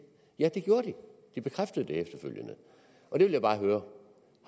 ja det gør de det bekræftede de efterfølgende jeg vil bare høre